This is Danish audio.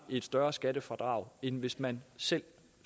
et større skattefradrag end hvis man selv